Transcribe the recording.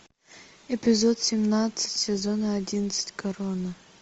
эпизод семнадцать сезона одиннадцать корона